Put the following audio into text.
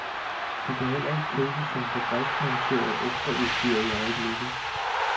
De kan heller ikke købes som fabriksmonteret ekstraudstyr i øjeblikket.